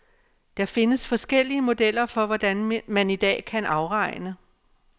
Der findes forskellige modeller for, hvordan man i dag kan afregne.